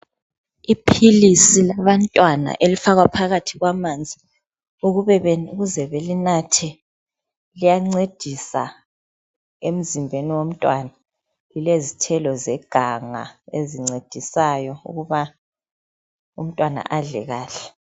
Iphilisi labantwana elifakwa phakathi kwamanzi ukuze belinathe. Liyancedisa emzimbeni womntwana. Lilezithelo zeganga ezincedisayo ukuba umntwana adle kahle.